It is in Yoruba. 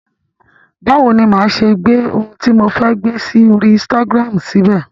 Báwo ni máa ṣe gbé ohun tí mo fẹ́ gbé sí orí insitagiramu síbẹ̀?